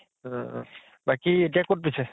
উম বাকী এতিয়া কʼত পিছে?